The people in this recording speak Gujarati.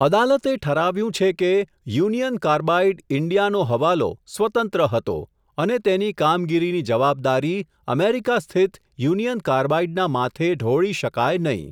અદાલતે ઠરાવ્યું છે કે, યુનિયન કાર્બાઇડ ઇન્ડિયાનો હવાલો, સ્વતંત્ર હતો, અને તેની કામગીરીની જવાબદારી, અમેરિકા સ્થિત યુનિઅન કાર્બાઇડના માથે ઢોળી શકાય નહીં.